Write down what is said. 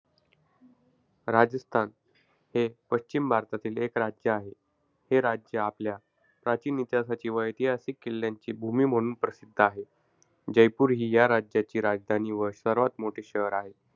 राजस्थान हे पश्चिम भारतातील एक राज्य आहे. हे राज्य आपल्या प्राचीन इतिहासाची व ऐतिहासिक किल्यांची भूमी म्हणून प्रसिद्ध आहे. जयपूर ही या राज्याची राजधानी व सर्वात मोठे शहर आहे.